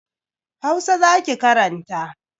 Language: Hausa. Hausa za ki karanta.